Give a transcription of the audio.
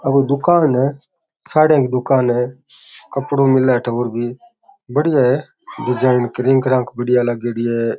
आ कोई दुकान है साड़ियां की दुकान है कपड़ो मिले अठे और भी बढिया है डिजाइन बढ़िया लागयोड़ी है।